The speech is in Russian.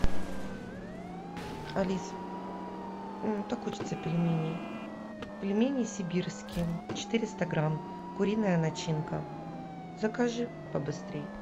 алиса так хочется пельменей пельмени сибирские четыреста грамм куриная начинка закажи побыстрей